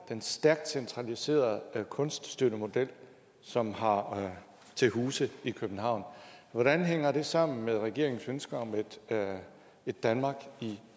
den stærkt centraliserede kunststøttemodel som har til huse i københavn hvordan hænger det sammen med regeringens ønske om et danmark i